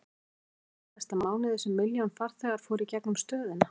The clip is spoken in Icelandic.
Var það ekki í síðasta mánuði sem milljón farþegar fóru í gegnum stöðina?